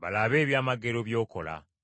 balabe ebyamagero by’okola.